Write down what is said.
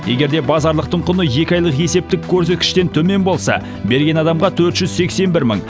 егер де базарлықтың құны екі айлық есептік көрсеткіштен төмен болса берген адамға төрт жүз сексен бір мың